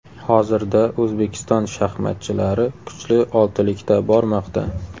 Hozirda O‘zbekiston shaxmatchilari kuchli oltilikda bormoqda.